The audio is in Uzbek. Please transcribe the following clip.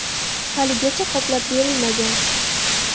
Haligacha qoplab berilmagan.